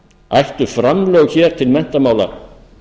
ættu framlög til menntamála